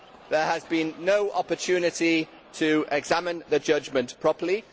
There has been no opportunity to examine the judgment properly.